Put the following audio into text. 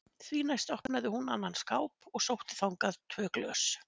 Því næst opnaði hún annan skáp og sótti þangað tvö glös.